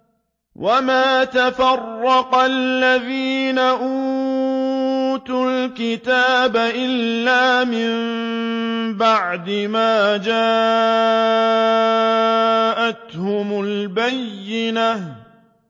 وَمَا تَفَرَّقَ الَّذِينَ أُوتُوا الْكِتَابَ إِلَّا مِن بَعْدِ مَا جَاءَتْهُمُ الْبَيِّنَةُ